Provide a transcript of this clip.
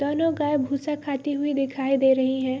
दोनों गाय भूसा खाते हुए दिखाई दे रही है ।